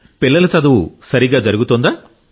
పిల్లల చదువు సరిగా జరుగుతుందా